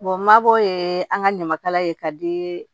mabɔ ye an ka ɲamakala ye ka di